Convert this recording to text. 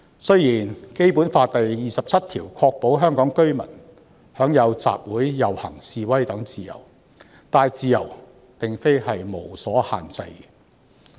雖然《基本法》第二十七條確保香港居民享有集會、遊行、示威等自由，但這些自由並非不受限制。